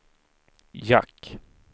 jack